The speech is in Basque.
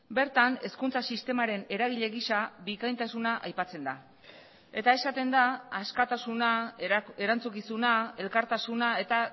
bertan hezkuntza sistemaren eragile gisa bikaintasuna aipatzen da eta esaten da askatasuna erantzukizuna elkartasuna eta